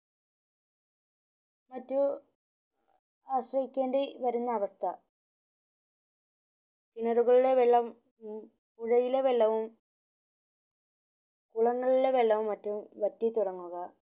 മറ്റു ആശ്രയിക്കേണ്ടി വരുന്ന അവസ്ഥ കിണറുകളിലെ വെള്ളം പുഴയിലെ വെള്ളവും കുളങ്ങളിലെ വെള്ളവും മറ്റും വറ്റി തുടങ്ങുക